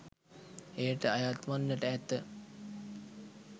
එයට අයත්වන්නට ඇත.